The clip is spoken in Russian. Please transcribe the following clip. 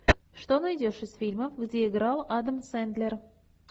что найдешь из фильмов где играл адам сэндлер